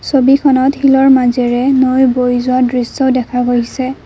ছবিখনত শিলৰ মাজেৰে নৈ বৈ যোৱা দৃশ্য দেখা গৈছে।